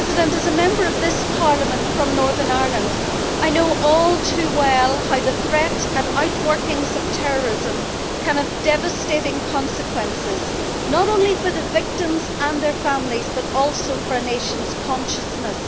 As a Member of this Parliament from Northern Ireland, I know all too well how the threat and the out workings of terrorism can have devastating consequences, not only for the victims and their families, but also for a nation's consciousness.